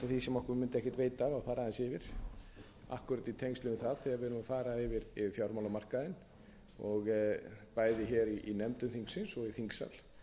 því sem okkur mundi ekkert veita af að fara aðeins yfir akkúrat í tengslum við það þegar við erum að fara yfir fjármálamarkaðinn bæði hér í nefndum þingsins og í þingsal